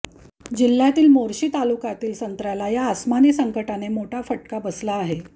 जिल्ह्यातील मोर्शी तालुक्यातील संत्र्याला या अस्मानी संकटाने मोठा फटका बसला आहे